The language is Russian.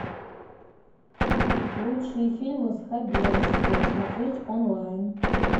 лучшие фильмы с хабенским смотреть онлайн